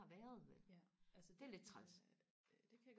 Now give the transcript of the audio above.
været vel det er lidt træls